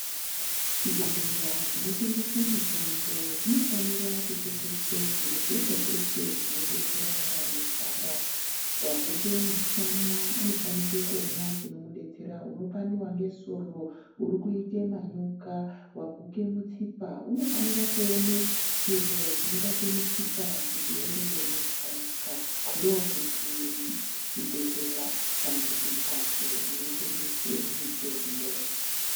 Zvibhedhlera zvinotengese mutombo zvinofanira kutengese zviro zveshe zveshe zvinodetsera vanorwara waguke mushanda unofanike kuona chinomudetsera, unopandwa ngesoro, urikuite manyoka, waguke mutsipa unofanire kuone chiro chinobate mutsipa kuti uone kueme zvakanaka ndokuti chibhedhlera kana kuti mphatso inotengesa mutombo.